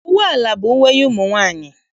Uwe ala bụ uwe ụmụ nwaanyị.